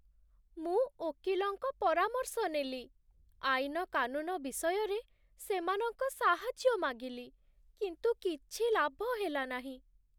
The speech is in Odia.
ମୁଁ ଓକିଲଙ୍କ ପରାମର୍ଶ ନେଲି, ଆଇନ କାନୁନ ବିଷୟରେ ସେମାନଙ୍କ ସାହାଯ୍ୟ ମାଗିଲି, କିନ୍ତୁ କିଛି ଲାଭ ହେଲାନାହିଁ!